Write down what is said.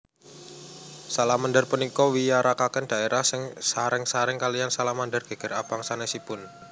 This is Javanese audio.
Salamander punika wiyaraken dhaérah sareng sareng kaliyan salamander geger abang sanesipun